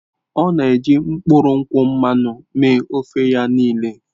Ọ na-eji mkpụrụ nkwụ mmanụ mee ofe ya niile.